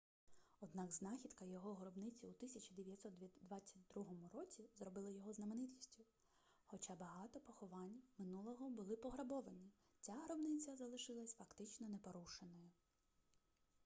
однак знахідка його гробниці у 1922 році зробила його знаменитістю хоча багато поховань минулого були пограбовані ця гробниця залишилась фактично непорушеною